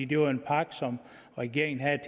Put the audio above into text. det var en pakke regeringen havde